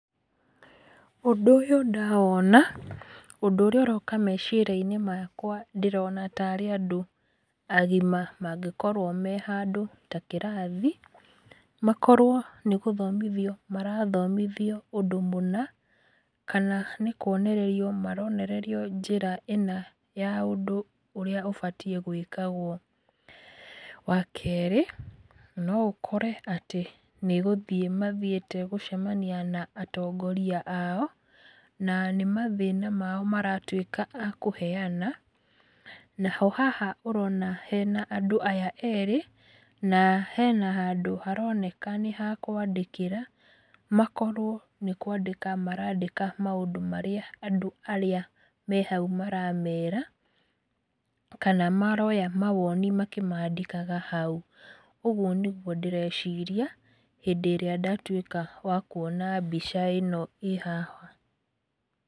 Ũndũ ũyũ ndawona ũndũ ũrĩa ũroka meciria-inĩ makwa ndĩrona tarĩ andũ agima mangĩkorwo me handũ ta kĩrathi. Makorwo nĩ gũthomithio marathomithio ũndũ mũna kana nĩ kuonererio maronererio njĩra ĩna ya ũndũ ũrĩa ũbatiĩ gwĩkagwo. Wa kerĩ no ũkore atĩ nĩ gũthiĩ mathiĩte gũcemania na atongoria ao, na nĩ mathĩna mao maratuĩka a kũheana. Naho haha ũrona hena andũ aya erĩ, na hena handũ haroneka nĩ ha kũandĩkĩra, makorwo nĩ kũandĩka marandĩka maũndũ marĩa andũ arĩa me hau maramera, kana maroya mawoni makĩmandĩkaga hau. Ũguo nĩguo ndĩreciria hĩndĩ ĩrĩa ndatuĩka wa kuona mbica ĩno ĩĩ haha.